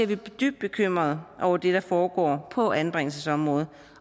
vi dybt bekymret over det der foregår på anbringelsesområdet